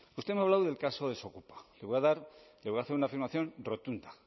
usted me ha hablado del caso desokupa le voy a dar le voy a hacer una afirmación rotunda